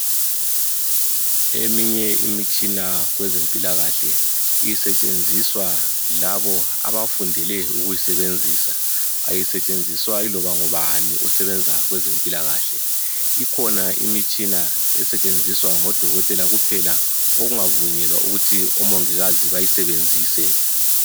eminye imitshina kwezempilakahle isetshenziswa yilabo abafundele ukuyisebenzisa ayisetshenziswa yiloba ngubani osebenza kwezempilakhle ikhona imitshina esetshenziswa ngo dokotela kuphela okungavumelwa ukuthi omongikazi bayisebenzise